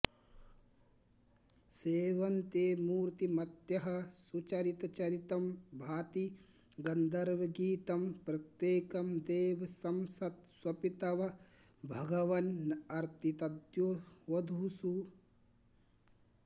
सेवन्ते मूर्तिमत्यः सुचरितचरितं भाति गन्धर्व गीतं प्रत्येकं देवसंसत्स्वपि तव भघवन्नर्तितद्द्योवधूषु